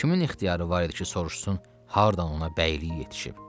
Kimin ixtiyarı var idi ki, soruşsun hardan ona bəylik yetişib?